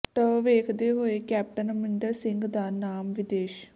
ਟ ਵੇਖਦੇ ਹੋਏ ਕੈਪਟਨ ਅਮਰਿੰਦਰ ਸਿੰਘ ਦਾ ਨਾਮ ਵਿਦੇਸ